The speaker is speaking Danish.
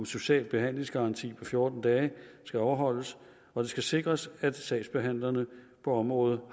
social behandlingsgaranti på fjorten dage skal overholdes og det skal sikres at sagsbehandlerne på området